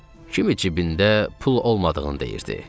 kimi cibində pul olmadığını deyirdi.